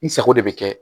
N sago de bɛ kɛ